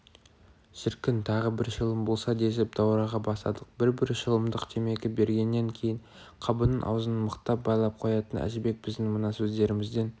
шіркін тағы бір шылым болса десіп даурыға бастадық бір-бір шылымдық темекі бергеннен кейін қабының аузын мықтап байлап қоятын әжібек біздің мына сөздерімізден